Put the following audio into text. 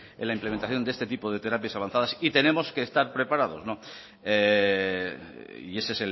en la implementación de este tipo de terapias avanzadas y tenemos que estar preparados no y ese